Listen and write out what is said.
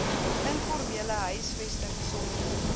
informele huisvesting sonder